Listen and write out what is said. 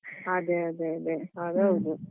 ಹಾ ಅದೇ ಅದೇ ಅದೇ ಅದು ಹೌದು.